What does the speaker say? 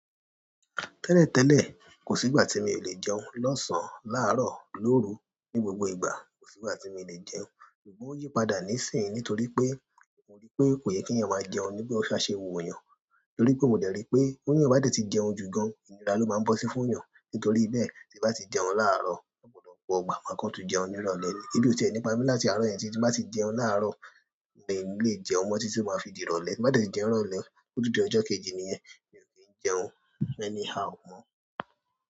Tẹ́lẹ̀tẹ́lẹ̀ kosi ìgbà ti mi o le jẹun, losan, laaro, loru. Ni gbogbo ìgbà kò sí ìgbà tí mi o lè jẹun, ṣùgbọ́n ó yí padà níìsín nítorí pé mo rí pé kò yẹ kí ènìyàn máa jẹun nígbà tí to ba ṣe wu yàn. Nítorí pé mò dè rí pé ti eyan ba dé tí jẹun jù gan-an, ìnira ló máa ń bọ́ sí fún ènìyàn. Nítorí bẹ́ẹ̀ tí bá ti jẹun láàárọ̀, ọ̀pọ̀lọpọ̀ ìgbà máa kán tu jẹun ní ìrọ̀lẹ́. E bí o ti e ńi pa mí láti àárọ̀ yẹn, tí bá ti jẹun láàárọ̀, mi ò ni lè jẹun mọ́ tí tí tó máa fi di ìrọ̀lẹ́. Bí n bá de jẹun ni ìrọ̀lẹ́, ọ̀tún dí ojọ́ kejì nìyẹn. Mi ò kí ń jẹun anyhow mọ́.